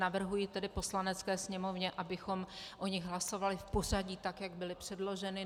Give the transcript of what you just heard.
Navrhuji tedy Poslanecké sněmovně, abychom o nich hlasovali v pořadí tak, jak byly předloženy.